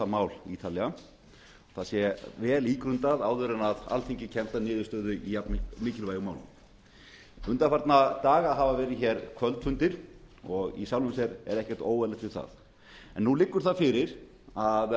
mál ítarlega og það sé vel ígrundað áður en alþingi kemst að niðurstöðu í jafn mikilvægu máli undanfarna daga hafa verið hér kvöldfundir og í sjálfu sér er ekkert óeðlilegt við það en nú liggur það fyrir að